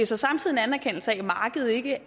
så samtidig en anerkendelse af